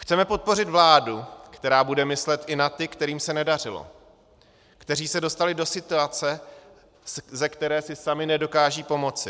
Chceme podpořit vládu, která bude myslet i na ty, kterým se nedařilo, kteří se dostali do situace, ze které si sami nedokážou pomoci.